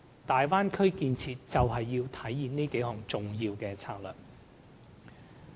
大灣區建設就是要實行這幾項重要策略。